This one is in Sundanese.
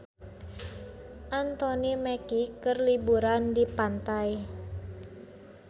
Anthony Mackie keur liburan di pantai